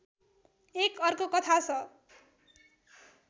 एक अर्को कथा छ